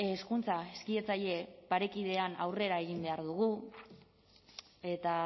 hezkuntza hezkidetzaile parekidean aurrera egin behar dugu eta